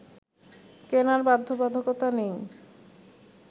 কেনার বাধ্যবাধকতা নেই